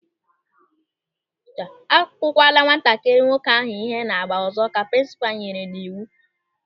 "Akukwala nwatakịrị nwoke ahụ ihe na-agba ọzọ", Ka prinsipal nyere n'iwu.